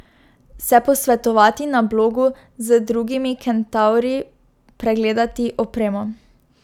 Se posvetovati na blogu z drugimi kentavri, pregledati opremo.